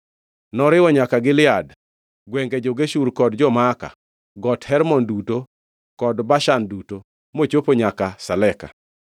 Noriwo nyaka Gilead, gwenge jo-Geshur kod jo-Maaka, Got Hermon duto, kod Bashan duto, mochopo nyaka Saleka,